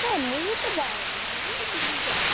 ଏ ମୁଁ ତ ଯାଏନି, ମୁଁ ବିଲକୁ ଯାଏନି।